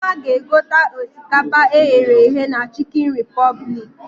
Nneoma ga egote osikapa e ghere eghe na Chikin Repụblik